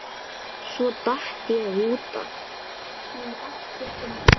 Svo datt ég út af.